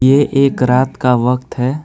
ये एक रात का वक्त है।